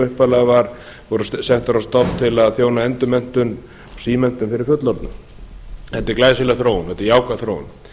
upphaflega voru settar á stofn til að þjóna endurmenntun og símenntun fyrir fullorðna þetta er glæsileg þróun þetta er jákvæð þróun